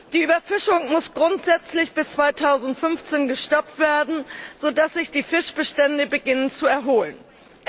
Die Überfischung muss grundsätzlich bis 2015 gestoppt werden, sodass sich die Fischbestände zu erholen beginnen.